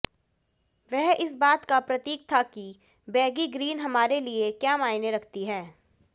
वह इस बात का प्रतीक था कि बैगी ग्रीन हमारे लिए क्या मायने रखती है